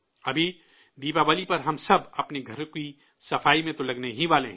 ابھی دیوالی پر ہم سب اپنے گھر کی صاف صفائی میں تو مصروف ہونے ہی والے ہیں